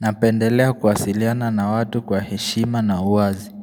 Napendelea kuwasiliana na watu kwa heshima na uwazi.